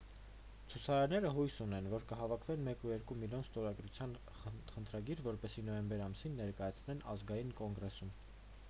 ցուցարարները հույս ունեն որ կհավաքագրեն 1,2 միլիոն ստորագրության խնդրագիր որպեսզի նոյեմբեր ամսին ներկայացնեն ազգային կոնգրեսում